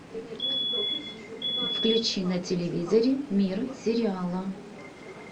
включи на телевизоре мир сериала